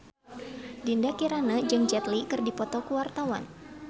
Dinda Kirana jeung Jet Li keur dipoto ku wartawan